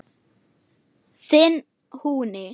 Þinn Húni.